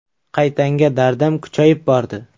Qaytanga dardim kuchayib bordi.